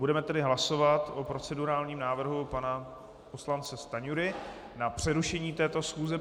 Budeme tedy hlasovat o procedurálním návrhu pana poslance Stanjury na přerušení této schůze.